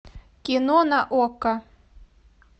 кино на окко